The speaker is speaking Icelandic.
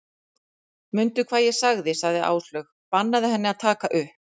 Mundu hvað ég sagði sagði Áslaug, bannaðu henni að taka upp